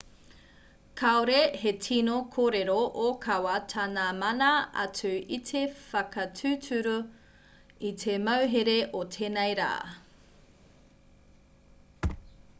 kāore he tino kōrero ōkawa tā ngā mana atu i te whakatūturu i te mauhere o tēnei rā